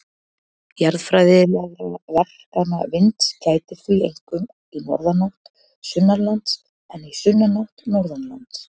Jarðfræðilegra verkana vinds gætir því einkum í norðanátt sunnanlands en í sunnanátt norðanlands.